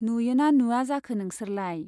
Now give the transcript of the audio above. नुयो ना नुवा जाखो नोंसोरलाय ?